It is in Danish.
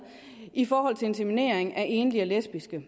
i forhold til inseminering af enlige og lesbiske